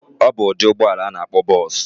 Obu udi ụgbọla ana akpo bus.